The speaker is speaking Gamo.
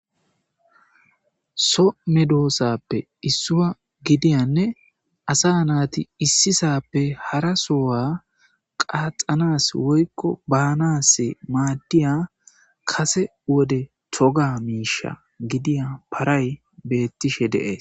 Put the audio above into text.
So medosape issuwa gidiyane asa nati issi sape hara sohuwa qandhanas woyko banas madiya kase wode toga misha gidiya paray betishe de'es.